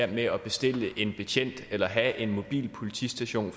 med at bestille en betjent eller have en mobil politistation